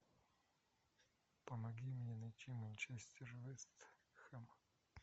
помоги мне найти манчестер вест хэм